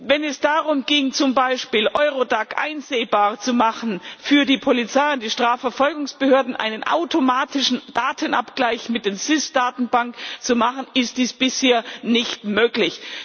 Wenn es darum ging, zum Beispiel Eurodac einsehbar zu machen für die Polizei und die Strafverfolgungsbehörden, einen automatischen Datenabgleich mit den SIS Datenbanken zu machen, ist dies bisher nicht möglich.